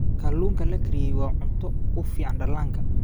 Kalluunka la kariyey waa cunto u fiican dhallaanka.